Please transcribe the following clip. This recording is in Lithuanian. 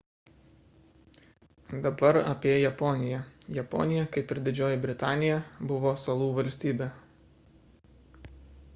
dabar apie japoniją japonija kaip ir didžioji britanija buvo salų valstybė